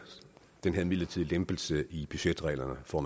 den her midlertidige lempelse i budgetreglerne for